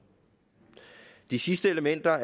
de sidste elementer